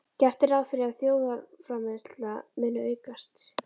Gert er ráð fyrir að þjóðarframleiðsla muni aukast.